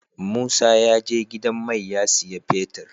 Musa ya je gidan mai ya siya fetir